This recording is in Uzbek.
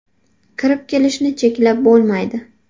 Kirib kelishni cheklab bo‘lmaydi.